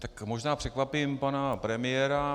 Tak možná překvapím pana premiéra.